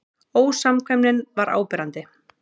Ósamkvæmnin var áberandi.